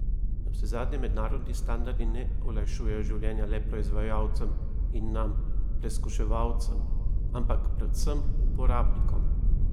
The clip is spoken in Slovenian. Navsezadnje mednarodni standardi ne olajšujejo življenja le proizvajalcem in nam, preskuševalcem, ampak predvsem uporabnikom.